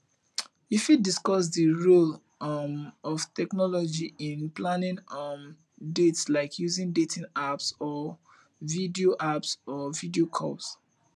you fit discuss di role um of technology in planning um dates like using dating apps or video apps or video calls